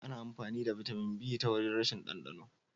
Ana amfani da Bitamin B ta wajen rashin dandano.